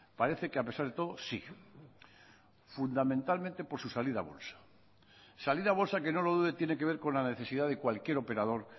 parece que a pesar de todo sí fundamentalmente por su salida a bolsa salir a bolsa que no lo dude tiene que ver con la necesidad de cualquier operador